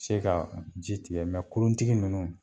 Se ka ji tigɛ kuruntigi nunnu